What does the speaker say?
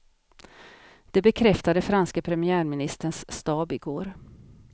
Det bekräftade franske premiärministerns stab i går.